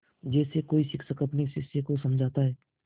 जैसे कोई शिक्षक अपने शिष्य को समझाता है